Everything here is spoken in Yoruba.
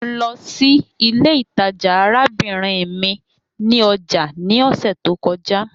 Mo lọ si ile itaja arabinrin mi ni ọja ni ọsẹ to kọja